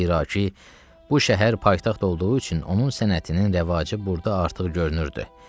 Zira ki, bu şəhər paytaxt olduğu üçün onun sənətinin rəvacı burda artıq görünürdü.